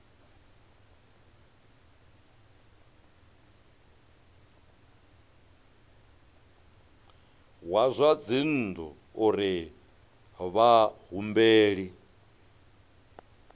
wa zwa dzinnu uri vhahumbeli